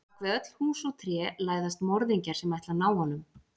Bak við öll hús og tré læðast morðingjar sem ætla að ná honum.